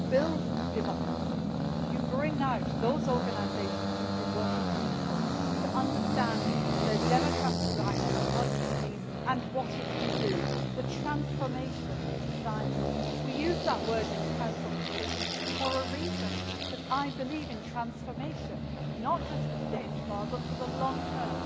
You build democracy and you bring out those organisations who can work with people to help them understand their democratic rights, what democracy can mean and what it can do the transformation of society. We use that word in the Council conclusions for a reason, because I believe in transformation, not just for today and tomorrow but for the long term.